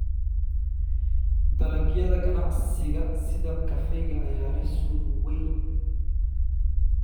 Dalagyada ganacsiga sida kafeega ayaa leh suuq weyn.